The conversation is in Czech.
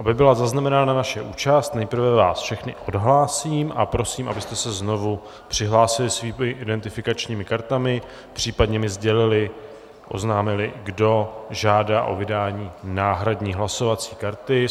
Aby byla zaznamenána naše účast, nejprve vás všechny odhlásím a prosím, abyste se znovu přihlásili svými identifikačními kartami, případně mi sdělili, oznámili, kdo žádá o vydání náhradní hlasovací karty.